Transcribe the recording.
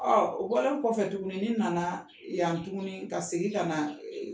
o bɔlen kɔfɛ tuguni ni nana yan tuguni ka segin ka na